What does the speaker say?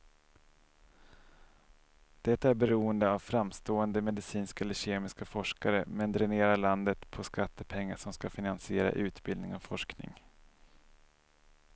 Det är beroende av framstående medicinska eller kemiska forskare, men dränerar landet på skattepengar som ska finansiera utbildning och forskning.